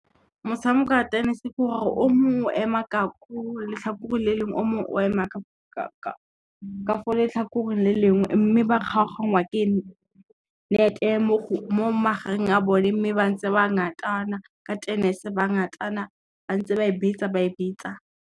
Motshameko o a tennis ke gore o mongwe o ema ka ko letlhakoreng le lengwe o mongwe o ema ka fo letlhakoreng le lengwe, mme ba kgaogangwa ke nete ya mo magareng a bone mme ba ntse ba ngatana ka tennis ba ngatana ba ntse ba e betsa ba e betsa.